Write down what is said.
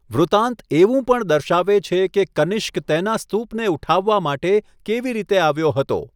વૃતાંત એવું પણ દર્શાવે છે કે કનિષ્ક તેના સ્તૂપને ઉઠાવવા માટે કેવી રીતે આવ્યો હતો.